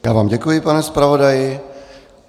Já vám děkuji, pane zpravodaji.